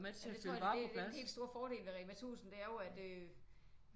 Ja det tror jeg det er den helt store fordel ved Rema 1000 det er jo at øh